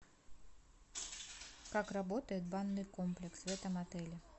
как работает банный комплекс в этом отеле